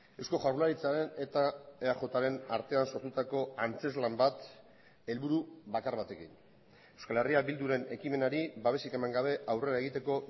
eusko jaurlaritzaren eta eajren artean sortutako antzezlan bat helburu bakar batekin euskal herria bilduren ekimenari babesik eman gabe aurrera egiteko